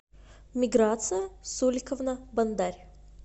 миграция суриковна бондарь